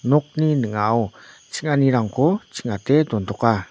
nokni ning·ao ching·anirangko ching·ate dontoka.